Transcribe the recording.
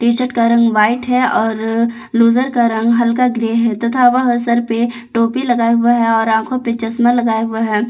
T shirt का रंग white है और लूजर का रंग हल्का ग्रे है तथा वह सर पे टोपी लगाए हुए है और आंखों पे चश्मा लगाए हुए है।